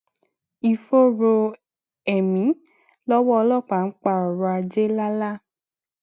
ìfòòró ẹmí lọwọ ọlọpàá ń pa ọrọ ajé lálá